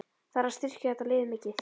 Þarf að styrkja þetta lið mikið?